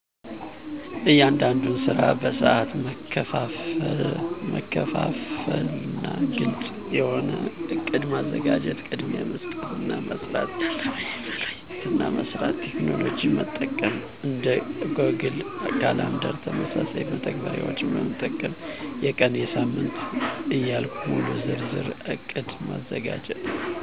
እያንዳንዱን ስራ በሰአት መከፋፈና ግልጽ የሆነ እቅድ ማዘጋጀት። ቅድሚያ መስጠት እና መስራት ያለብኝን መለየትና መስራት። ቴክኖሎጅን መጠቀም። እንደ ጎግል ካላንደር ተመሳሳይ መተግበሪያዎችን መጠቀም። የቀን፣ የሳምንት ዕያልኩ ሙሉ ዝርዝር እቅድ ማዘጋጀት።